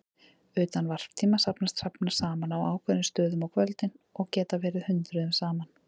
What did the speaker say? Utan varptíma safnast hrafnar saman á ákveðnum stöðum á kvöldin og geta verið hundruðum saman.